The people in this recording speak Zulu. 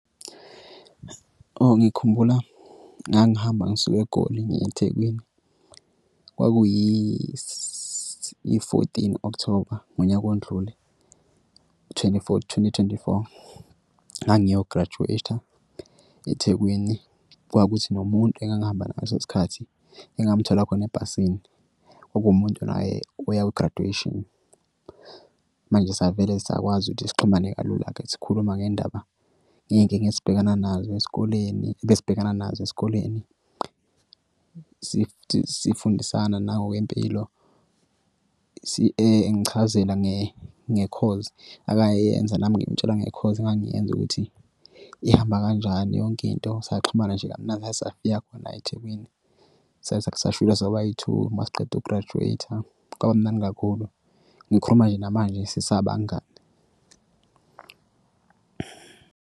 Ngikhumbula ngangihamba ngisuka eGoli ngiya eThekwini kwakuyi iy'-fourteen October ngonyaka ondlule twenty-four, twenty twenty four. Ngangiyograjuweyitha eThekwini kwakuthi nomuntu engangihamba ngaleso sikhathi engamuthola khona ebhasini okumuntu naye oya kwi-graduation. Manje savele sakwazi ukuthi sixhumane kalula-ke sikhuluma ngendaba ngey'nkinga esibhekana khona nazo esikoleni esibhekana nazo esikoleni. Sifundisane nangokwempilo engichazela ngekhozi akayenze nami ngamutshela ngekhozi engangiyenza ukuthi ihamba kanjani yonkinto saxhumana nje kamnandi saze safika khona Ethekwini. sobay-two uma siqeda ukugrajuweyitha kwaba mnandi kakhulu. Ngikhuluma nje namanje sisabangani.